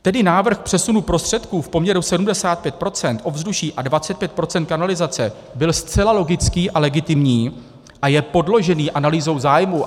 Tedy návrh přesunu prostředků v poměru 75 % ovzduší a 25 % kanalizace byl zcela logický a legitimní a je podložený analýzou zájmů.